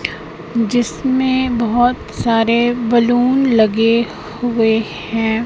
जिसमें बहुत सारे बैलून लगे हुए हैं।